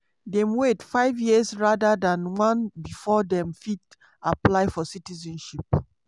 dem wait five years rather dan one bifor dem fit apply for citizenship.